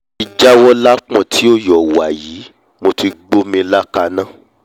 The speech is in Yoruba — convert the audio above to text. mo ti jáwọ́ lápọ̀n tí ò yọ̀ wàyí mo ti gbómi ilá kaná